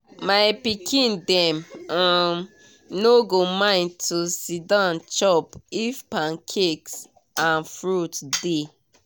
my pikin dem um no go mind to siddon chop if pancakes and fruit dey.